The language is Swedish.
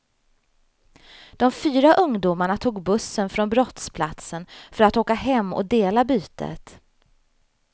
De fyra ungdomarna tog bussen från brottsplatsen för att åka hem och dela bytet.